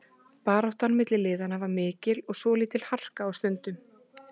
Baráttan milli liðanna var mikil og svolítil harka á stundum.